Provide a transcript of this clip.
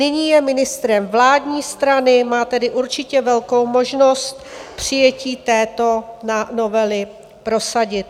Nyní je ministrem vládní strany, má tedy určitě velkou možnost přijetí této novely prosadit.